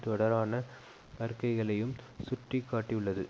தொடரான அறிக்கைகளையும் சுட்டி காட்டியுள்ளது